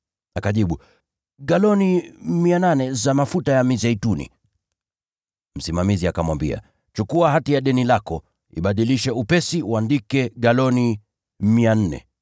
“Akajibu, ‘Galoni 800 za mafuta ya mizeituni.’ “Msimamizi akamwambia, ‘Chukua hati ya deni lako, ibadilishe upesi, uandike galoni 400.’